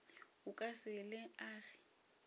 o ka se le age